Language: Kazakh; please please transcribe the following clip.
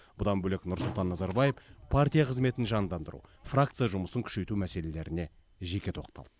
бұдан бөлек нұрсұлтан назарбаев партия қызметін жандандыру фракция жұмысын күшейту мәселелеріне жеке тоқталды